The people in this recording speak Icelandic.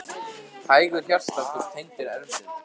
Hægur hjartsláttur tengdur erfðum